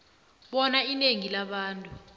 bona inengi labantu